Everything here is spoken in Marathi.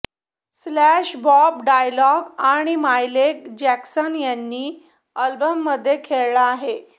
स्लॅश बॉब डायलॅन आणि मायकेल जॅक्सन यांनी अल्बममध्ये खेळला आहे